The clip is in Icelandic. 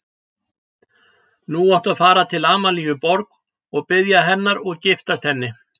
Nú áttu að fara til Amalíu Borg og biðja hennar og giftast henni.